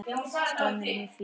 Staðan er mjög fín.